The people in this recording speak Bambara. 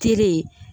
Tere